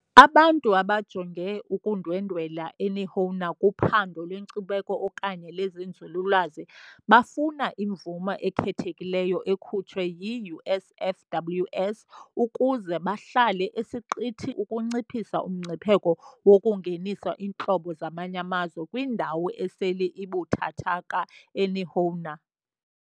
Abantu abajonge ukundwendwela uNihoa kuphando lwenkcubeko okanye lwezenzululwazi bafuna imvume ekhethekileyo ekhutshwe yi-USFWS ukuze bahlale esiqithini ukunciphisa umngcipheko wokungenisa iintlobo zamanye amazwe kwindawo esele ibuthathaka kaNihoa.